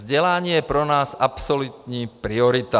Vzdělání je pro nás absolutní priorita.